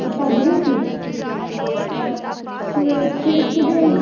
ਉਹ ਭੱਜ ਗਏ ਸੀ ਤੇ ਫਿਰ ਕਿਡੇ।